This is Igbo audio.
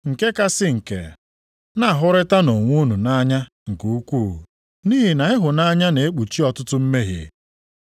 Nke kachasị nke, na-ahụrịtanụ onwe unu nʼanya nke ukwuu nʼihi na ịhụnanya na-ekpuchi ọtụtụ mmehie.